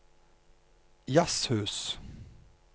jazzhus